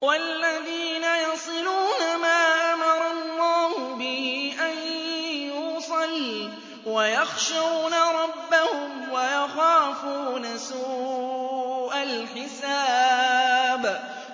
وَالَّذِينَ يَصِلُونَ مَا أَمَرَ اللَّهُ بِهِ أَن يُوصَلَ وَيَخْشَوْنَ رَبَّهُمْ وَيَخَافُونَ سُوءَ الْحِسَابِ